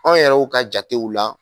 Aw yɛrɛw ka jatew la.